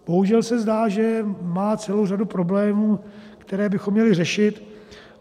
Bohužel se zdá, že má celou řadu problémů, které bychom měli řešit.